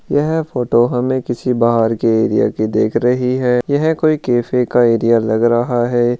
यह फोटो हमे किसी बहार की एरिया की दिख रही है यह कोई कैफ़े का एरिया लग रहा है।